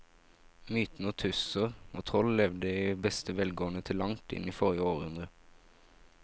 Mytene om tusser og troll levde i beste velgående til langt inn i forrige århundre.